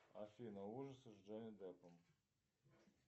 афина ужасы с джонни деппом